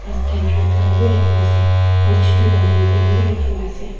ket red colour bi rakhina ase aro chutu bultin green bi rakhina ase.